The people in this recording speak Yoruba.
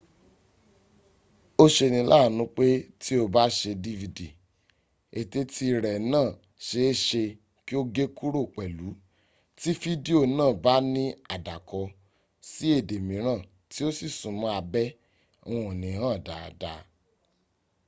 ó ṣeni láàánú pé tí o bá ṣe dvd eteti rẹ náà ṣe é ṣe kí ó gé kúrò pẹ̀lú tí fídíò náà bá ní àdàkọ sií èdè mìíràn tí o sì súnmọ́ abẹ́ wọn ò ní hàn dáadáa